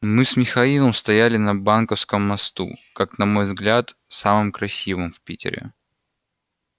мы с михаилом стояли на банковском мосту как на мой взгляд самом красивом в питере